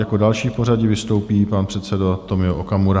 Jako další v pořadí vystoupí pan předseda Tomio Okamura.